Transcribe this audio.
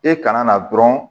E kana na dɔrɔn